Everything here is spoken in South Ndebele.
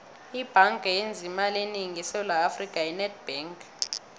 ibhanga eyenza imali enengi esewula afrika yi nedbank